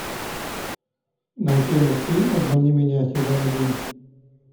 найти мультфильм обмани меня сезон один